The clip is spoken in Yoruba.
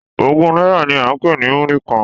Ogún náírà ni à ń pè ní múrí kan.